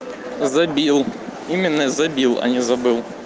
забил именно забил а не забыл